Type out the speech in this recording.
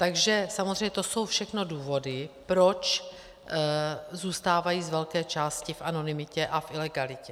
Takže samozřejmě to jsou všechno důvody, proč zůstávají z velké části v anonymitě a v ilegalitě.